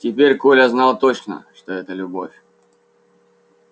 теперь коля знал точно что это любовь